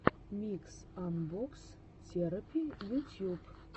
микс анбокс терэпи ютьюб